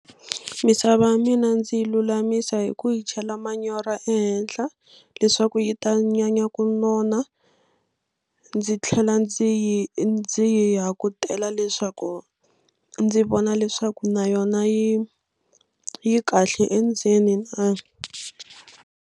Misava ya mina ndzi yi lulamise hi ku yi chela manyoro ehenhla leswaku yi ta nyanya ku nona ndzi tlhela ndzi yi ndzi hakutela leswaku ndzi vona leswaku na yona yi yi kahle endzeni na.